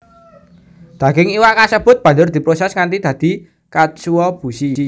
Daging iwak kasebut banjur diproses nganti dadi katsuobushi